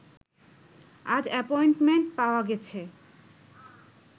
আজ অ্যাপয়েন্টমেন্ট পাওয়া গেছে